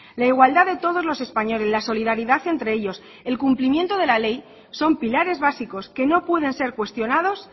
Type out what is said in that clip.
la igualdad de todos los españoles la solidaridad entre ellos el cumplimiento de la ley son pilares básicos que no pueden ser cuestionados